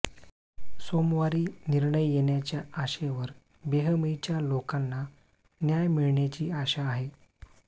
सोमवारी निर्णय येण्याच्या आशेवर बेहमईच्या लोकांना न्याय मिळण्याची आशा आहे